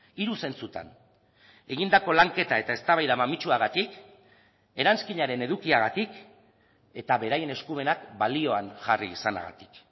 hiru zentzutan egindako lanketa eta eztabaida mamitsuagatik eranskinaren edukiagatik eta beraien eskumenak balioan jarri izanagatik